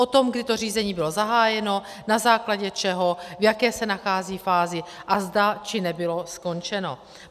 O tom, kdy to řízení bylo zahájeno, na základě čeho, v jaké se nachází fázi, zda bylo či nebylo skončeno.